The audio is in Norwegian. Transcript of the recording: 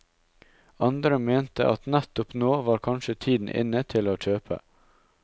Andre mente at nettopp nå var kanskje tiden inne til å kjøpe.